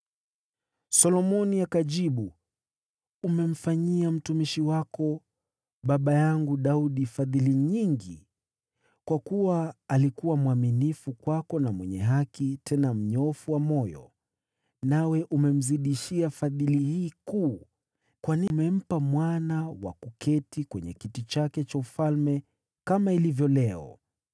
Solomoni akajibu, “Umemfanyia mtumishi wako, baba yangu Daudi, fadhili nyingi, kwa kuwa alikuwa mwaminifu kwako na mwenye haki, tena mnyofu wa moyo. Nawe umemzidishia fadhili hii kuu kwani umempa mwana wa kuketi kwenye kiti chake cha ufalme, kama ilivyo leo.